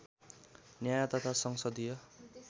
न्याय तथा संसदीय